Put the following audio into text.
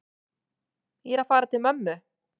Ég er að fara til mömmu.